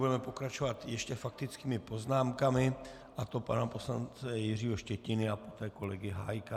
Budeme pokračovat ještě faktickými poznámkami, a to pana poslance Jiřího Štětiny a poté kolegy Hájka.